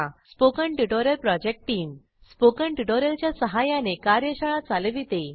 spoken tutorial project team spoken tutorial च्या सहाय्याने कार्यशाळा चालविते